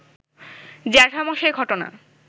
জ্যাঠামশায় ঘটনা